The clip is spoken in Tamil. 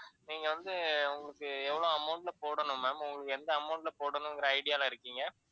நீங்க வந்து உங்களுக்கு எவ்ளோ amount ல போடணும் ma'am, எந்த amount ல போடணும்ங்குற idea ல இருக்கீங்க?